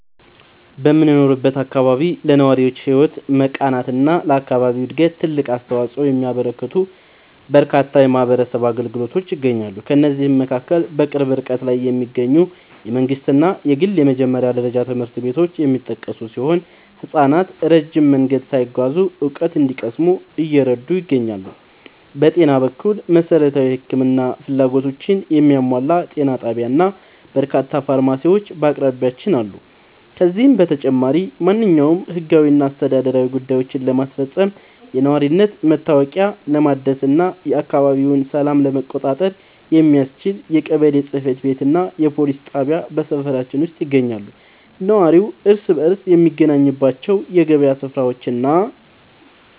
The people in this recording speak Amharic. በምኖርበት አካባቢ ለነዋሪዎች ሕይወት መቃናትና ለአካባቢው ዕድገት ትልቅ አስተዋፅኦ የሚያበረክቱ በርካታ የማኅበረሰብ አገልግሎቶች ይገኛሉ። ከእነዚህም መካከል በቅርብ ርቀት ላይ የሚገኙ የመንግሥትና የግል የመጀመሪያ ደረጃ ትምህርት ቤቶች የሚጠቀሱ ሲሆን፣ ሕፃናት ረጅም መንገድ ሳይጓዙ እውቀት እንዲቀስሙ እየረዱ ይገኛሉ። በጤና በኩል፣ መሠረታዊ የሕክምና ፍላጎቶችን የሚያሟላ ጤና ጣቢያና በርካታ ፋርማሲዎች በአቅራቢያችን አሉ። ከዚህም በተጨማሪ፣ ማንኛውንም ሕጋዊና አስተዳደራዊ ጉዳዮችን ለማስፈጸም፣ የነዋሪነት መታወቂያ ለማደስና የአካባቢውን ሰላም ለመቆጣጠር የሚያስችል የቀበሌ ጽሕፈት ቤትና የፖሊስ ጣቢያ በሰፈራችን ውስጥ ይገኛሉ። ነዋሪው እርስ በርስ የሚገናኝባቸው የገበያ ሥፍራዎችና